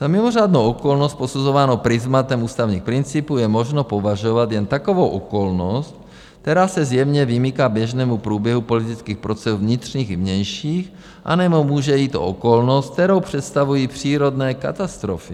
Za mimořádnou okolnost, posuzováno prizmatem ústavních principů, je možno považovat jen takovou okolnost, která se zjevně vymyká běžnému průběhu politických procesů vnitřních i vnějších, anebo může jít o okolnost, kterou představují přírodní katastrofy.